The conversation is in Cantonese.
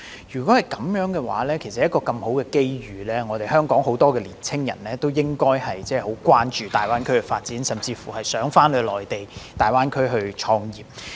若是如此，其實面對一個這麼好的機遇，香港應該有很多年青人關注大灣區的發展，甚至希望前往內地大灣區創業。